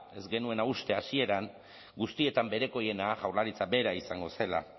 ez genuena uste hasieran guztietan berekoiena jaurlaritza bera izango zela